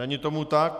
Není tomu tak.